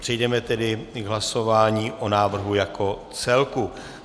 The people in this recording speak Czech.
Přejdeme tedy k hlasování o návrhu jako celku.